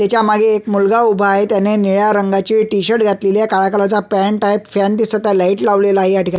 तेच्या मागे एक मुलगा उभा आहे त्याने निळा रंगाचे टि-शर्ट घातलेले आहे काळ्या रंगाची पँट आहे फॅन दिसत आहे लाइट लावलेला आहे ह्या ठिकाणी.